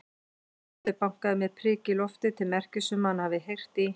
Kobbi bankaði með priki í loftið til merkis um að hann hafi heyrt í